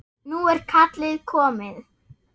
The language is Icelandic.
Nú er kallið komið.